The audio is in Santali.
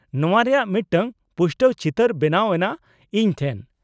-ᱱᱚᱶᱟ ᱨᱮᱭᱟᱜ ᱢᱤᱫᱴᱟᱝ ᱯᱩᱥᱴᱟᱹᱣ ᱪᱤᱛᱟᱹᱨ ᱵᱮᱱᱟᱣ ᱮᱱᱟ ᱤᱧ ᱴᱷᱮᱱ ᱾